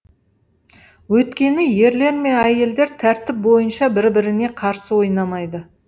өйткені ерлер мен әйелдер тәртіп бойынша бір біріне қарсы ойнамайды